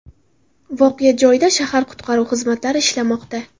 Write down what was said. Voqea joyida shahar qutqaruv xizmatlari ishlamoqda.